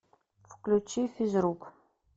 включи физрук